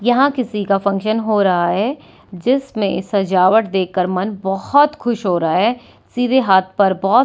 यहां किसी का फंक्शन हो रहा है जिसमें सजावट देखकर मन बोहोत खुश हो रहा है सीधे हाथ पर बोहोत --